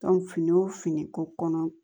fini wo finiko kɔnɔ